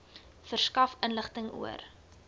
verskaf inligting oor